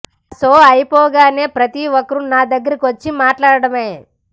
ఆ షో అయిపోగానే ప్రతి ఒక్కరూ నా దగ్గరికి వచ్చి మాట్లాడడమే